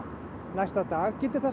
næsta dag gildi það